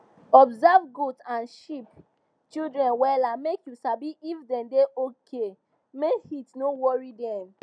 observe goat and sheep children wella make you sabi if dem da okay make heat no worry dem